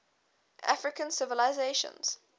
african civilizations